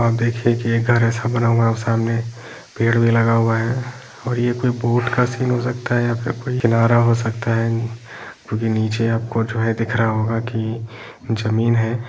आप देखें एक घर बना हुआ है सामने पेड़ भी लगा हुआ है और ये कोई बोट का सीन हो सकता है या फिर कोई किनारा हो सकता है जो आपको नीचे आपको दिख रहा होगा कि जमीन है।